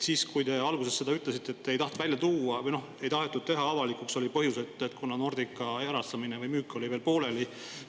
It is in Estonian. Te alguses ütlesite, et te ei tahtnud seda välja tuua või ei tahetud teha avalikuks, kuna Nordica erastamine või müük oli alles pooleli.